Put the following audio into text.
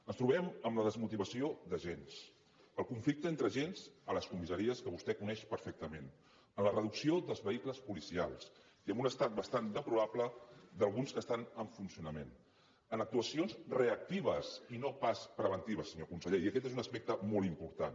ens trobem amb la desmotivació d’agents amb el conflicte entre agents a les comissaries que vostè coneix perfectament amb la reducció dels vehicles policials i amb un estat bastant deplorable d’alguns que estan en funcionament amb actuacions reactives i no pas preventives senyor conseller i aquest és un aspecte molt important